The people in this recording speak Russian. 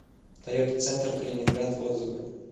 тойота центр калининград отзывы